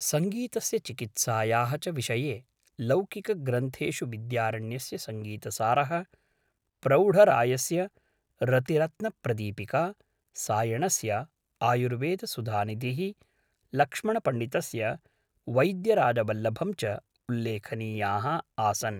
सङ्गीतस्य चिकित्सायाः च विषये लौकिकग्रन्थेषु विद्यारण्यस्य संगीतसारः, प्रौढरायस्य रतिरत्नप्रदीपिका, सायणस्य आयुर्वेदसुधानिधिः, लक्ष्मणपण्डितस्य वैद्यराजवल्लभं च उल्लेखनीयाः आसन्।